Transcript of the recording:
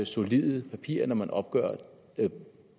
solide papirer når man skal opgøre